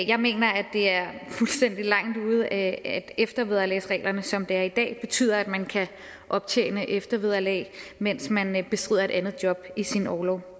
jeg mener at det er fuldstændig langt ude at eftervederlagsreglerne som det er i dag betyder at man kan optjene eftervederlag mens man man bestrider et andet job i sin orlov